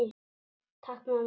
Takk mamma!